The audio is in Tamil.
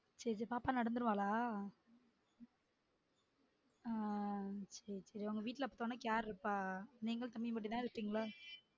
சேரி சேரி பாப்பா நடந்துருவாலா? ஆஹ் சேரி சேரி உங்க வீட்ல இப்ப தொனைக்கு யாரு இருப்பா? நீங்கலும் தம்பி மட்டும்தான் இருப்பின்களா?